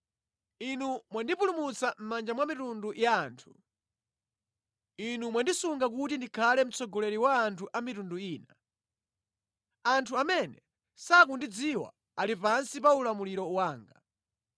“Inu mwandipulumutsa mʼmanja mwa mitundu ya anthu; Inu mwandisunga kuti ndikhale mtsogoleri wa anthu a mitundu ina. Anthu amene sindikuwadziwa ali pansi pa ulamuliro wanga.